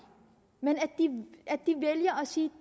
men vælger at sige